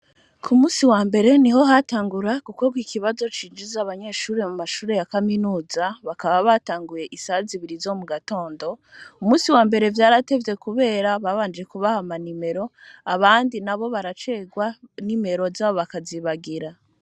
Ku munsi wambere niho hatangura gukorwa ikibazo cinjiza abanyeshuri mu mashuri ya kaminuza bakaba batanguye isaha zibiri zo mugatondo, umunsi wambere vyaratevye kubera babanje kubaha ama nimero abandi nabo baracerwa nimero zabo bakazibagira.